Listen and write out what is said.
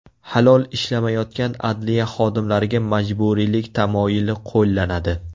Halol ishlamayotgan adliya xodimlariga majburiylik tamoyili qo‘llanadi.